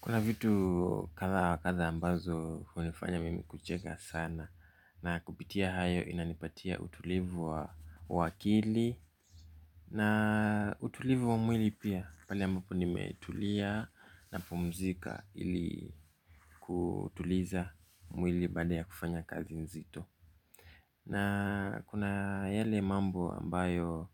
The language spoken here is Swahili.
Kuna vitu kadha wakadha ambazo hunifanya mimi kucheka sana na kupitia hayo inanipatia utulivu wa akili na utulivu wa mwili pia. Pale ambapo nimetulia na pumzika ili kutuliza mwili baada ya kufanya kazi nzito. Na kuna yale mambo ambayo